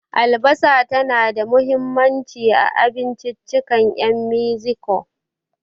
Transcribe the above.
Albasa tana da mahimmanci a abinciccikan 'yan Mexico.